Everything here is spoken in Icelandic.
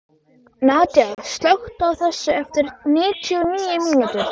Nadia, slökktu á þessu eftir níutíu og níu mínútur.